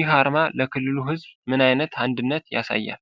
ይህ አርማ ለክልሉ ሕዝብ ምን ዓይነት አንድነትን ያሳያል?